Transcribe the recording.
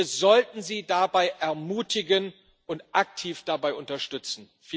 Wir sollten sie dabei ermutigen und aktiv dabei unterstützen.